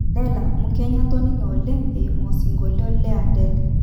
Dela, Mkenya atoninge oleng eimu osingolio le Adele.